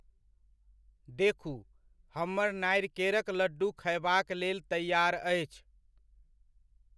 देखू, हमर नारिकेरक लड्डू खयबाक लेल तैआर अछि !